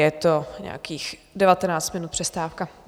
Je to nějakých 19 minut přestávka.